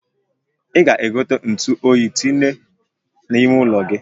I ga-ego ntu oyi tinye na-ime ụlo gị?